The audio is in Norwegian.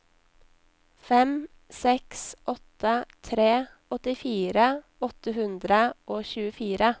fem seks åtte tre åttifire åtte hundre og tjuefire